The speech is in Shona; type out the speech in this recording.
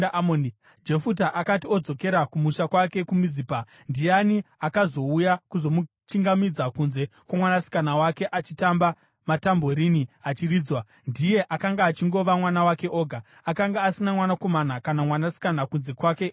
Jefuta akati odzokera kumusha kwake kuMizipa, ndiani akazouya kuzomuchingamidza kunze kwomwanasikana wake, achitamba, matambureni achiridzwa! Ndiye akanga achingova mwana wake oga. Akanga asina mwanakomana kana mwanasikana kunze kwake iye oga.